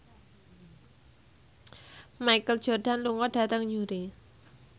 Michael Jordan lunga dhateng Newry